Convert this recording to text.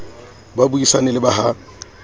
ba buisane le ba ha